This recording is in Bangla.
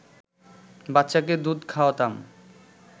বাচ্চাকে দুধ খাওয়াতাম